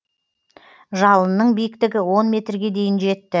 жалынның биіктігі он метрге дейін жетті